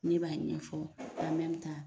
Ne b'a ɲɛfɔ an